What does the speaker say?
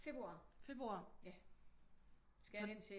Februar